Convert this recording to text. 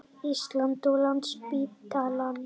Íslands og Landspítalann.